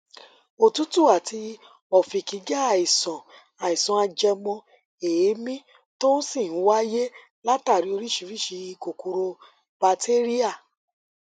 òtútù àti ọfìnkì jẹ àìsàn àìsàn ajẹmọ èémí tó sì ń wáyé látàrí oríṣiríṣi kòkòrò batéríà